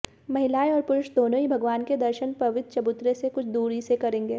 महिलाएं और पुरुष दोनो ही भगवान के दर्शन पवित्र चबूतरे से कुछ दूरी से करेंगे